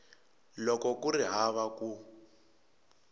loko ku ri hava ku